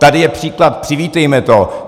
Tady je příklad - přivítejme to!